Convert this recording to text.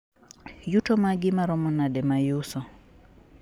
yuto magi maromo nade ma iuso